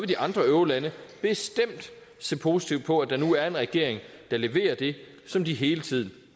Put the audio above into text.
de andre eurolande bestemt se positivt på at der nu er en regering der leverer det som de hele tiden